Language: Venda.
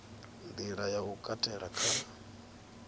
nḓila ya u katela kha